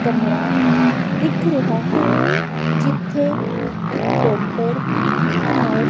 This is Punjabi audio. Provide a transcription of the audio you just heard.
ਕਮਰਾ ਦਿੱਖ ਰਿਹਾ ਹੈ ਜਿੱਥੇ ਇੱਕ ਡੋਕਟਰ ਇੱਕ ਨਰਸ --